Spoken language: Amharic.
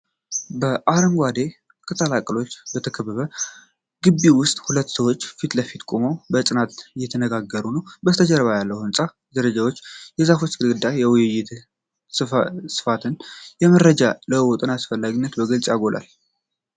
በአረንጓዴ ቅጠላቅጠል በተከበበ ግቢ ውስጥ ሁለት ሰዎች ፊት ለፊት ቆመው በጽናት እየተነጋገሩ ነው። ከጀርባ ያለው የሕንፃ ደረጃዎችና የዛፎች ግድግዳ የውይይቱን ስፋትና የመረጃ ልውውጥን አስፈላጊነት በግልጽ ያጎላል።